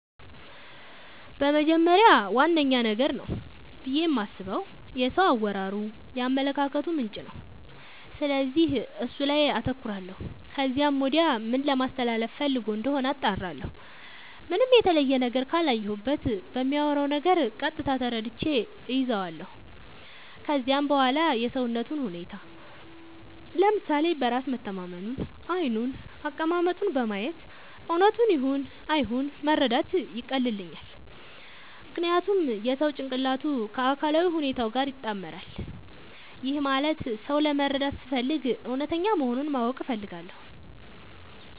በመጀመሪያ ዋነኛ ነገር ነው ብዬ የማስበው የሰው አወራሩ የአመለካከቱ ምንጭ ነው፤ ስለዚህ እሱ ላይ አተኩራለው ከዚያም ወዲያ ምን ለማለስተላለፋ ፈልጎ እንደሆነ አጣራለሁ። ምንም የተለየ ነገር ካላየሁበት በሚያወራው ነገር ቀጥታ ተረድቼ እይዛለው። ከዚያም በዋላ የሰውነቱን ሁኔታ፤ ለምሳሌ በራስ መተማመኑን፤ ዓይኑን፤ አቀማመጡን በማየት እውነቱን ይሁን አይሁን መረዳት ያቀልልኛል። ምክንያቱም የሰው ጭንቅላቱ ከአካላዊ ሁኔታው ጋር ይጣመራል። ይህም ማለት ሰው ለመረዳት ስፈልግ እውነተኛ መሆኑን ማወቅ እፈልጋለው።